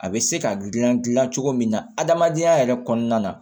A bɛ se ka gilan gilan cogo min na adamadenya yɛrɛ kɔnɔna na